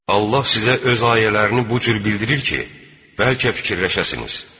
Allah sizə öz ayələrini bu cür bildirir ki, bəlkə fikirləşəsiniz.